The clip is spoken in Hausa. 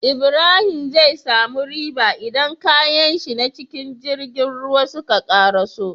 Ibrahim zai samu riba idan kayanshi na cikin girgin ruwa suka karaso